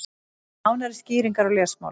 Nánari skýringar í lesmáli.